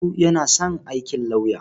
Audu yana son aikin lauya.